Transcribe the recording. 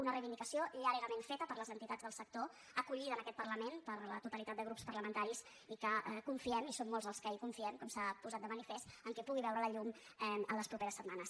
una reivindicació llargament feta per les entitats del sector acollida en aquest parlament per la totalitat de grups parlamenta·ris i que confiem i som molts els que hi confiem com s’ha posat de manifest que pugui veure la llum les properes setmanes